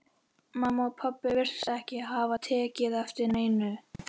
Mamma og pabbi virtust ekki hafa tekið eftir neinu.